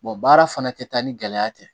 baara fana tɛ taa ni gɛlɛya tɛ